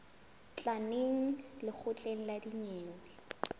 tla neng lekgotleng la dinyewe